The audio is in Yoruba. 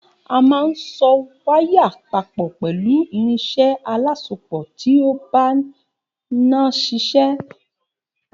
A máa ń so waya papò pẹ̀lú irinsé alásopò ti ó ń bá iná sişé